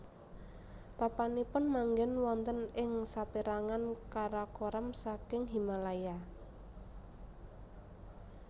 Papanipun manggèn wonten ing sapérangan karakoram saking Himalaya